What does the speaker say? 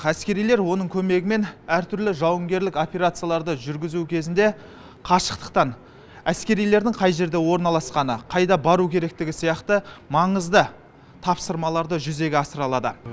әскерилер оның көмегімен әртүрлі жауынгерлік операцияларды жүргізу кезінде қашықтықтан әскерилердің қай жерде орналасқаны қайда бару керектігі сияқты маңызды тапсырмаларды жүзеге асыра алады